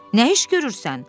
Nə iş görürsən?